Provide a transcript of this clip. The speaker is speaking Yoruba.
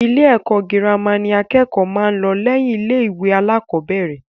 Ilé ẹ̀kọ́ girama ni àkẹ́kọ̀ọ́ máa ń lọ lẹ́yìn ilé-ìwé alákọ̀ọ́bẹ̀rẹ̀.